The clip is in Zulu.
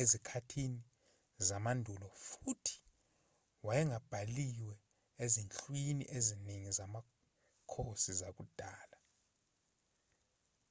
ezikhathini zamandulo futhi wayengabhaliwe ezinhlwini eziningi zamakhosi zakudala